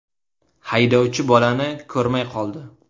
Haydovchi bolani ko‘rmay qoldi.